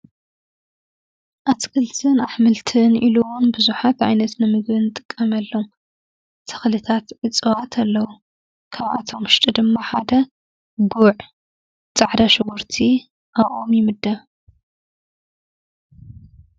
ኣትክልቲን ኣሕምልቲን ኢሉ እውን ብዙሓት ዓይነት ንምግቢ ንጥቀመሎም ተክሊታት ወይ እፅዋት ኣለው። ካብኣቶ ውሽጢ ድማ ሓደ ጉዕ፣ ፃዕዳ ሽጉርቲ ኣብኦም ይምደብ።